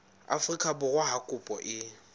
afrika borwa ha kopo e